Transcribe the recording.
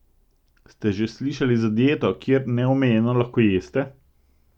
Ste že slišali za dieto, kjer neomejeno lahko jeste?